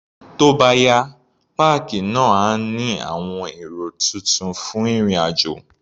Tó bá yá, páàkì náà á ní àwọn ẹ̀rọ tuntun fún ìrìn-àjò.